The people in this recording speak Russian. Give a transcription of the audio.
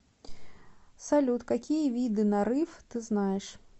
салют какие виды нарыв ты знаешь